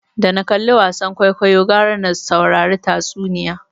Da na kalli wasan kwaikwayo gwara na saurari tatsuniya